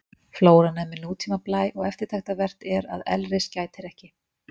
Flóran er með nútíma blæ og eftirtektarvert er að elris gætir ekki.